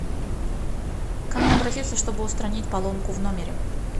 к кому обратиться чтобы устранить поломку в номере